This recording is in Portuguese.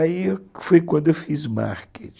Aí foi quando eu fiz marketing.